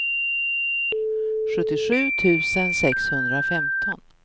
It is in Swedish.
sjuttiosju tusen sexhundrafemton